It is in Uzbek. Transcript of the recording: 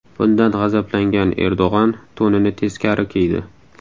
Bundan g‘azablangan Erdo‘g‘on to‘nini teskari kiydi.